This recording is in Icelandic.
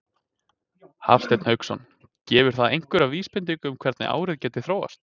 Hafsteinn Hauksson: Gefur það einhverja vísbendingu um það hvernig árið gæti þróast?